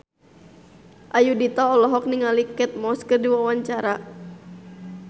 Ayudhita olohok ningali Kate Moss keur diwawancara